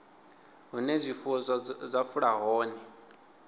hune zwifuwo zwa fula hone